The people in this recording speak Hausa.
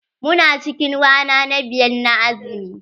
Mu na cikin rana na biyar na azumi.